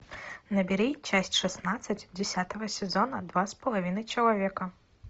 набери часть шестнадцать десятого сезона два с половиной человека